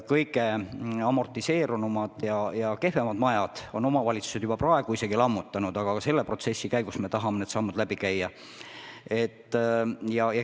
Kõige amortiseerunumad ja kehvemad majad on omavalitsused juba ise lammutanud, aga selle protsessi käigus me tahame kõik sammud läbi arutada.